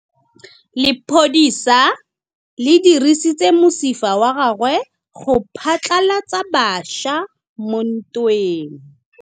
Lepodisa le dirisitse mosifa wa gagwe go phatlalatsa batšha mo ntweng.